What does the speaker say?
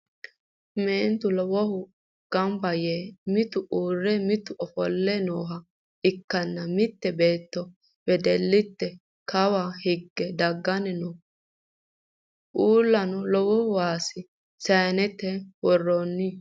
Meentu lowo gamba yee mitu uurre mitu ofolle nooha ikkanna mitte beetto wedelitte kawa higge daggayi no. Uullano lowo waasa sayiinete worroyi.